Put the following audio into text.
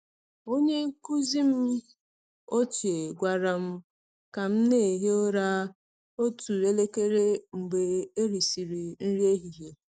Onye nkụzi m ochie gwara m ka m na-ehi ụra otu elekere mgbe erisịrị nri ehihie.